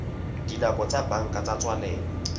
dinako tsa banka tsa tswalelo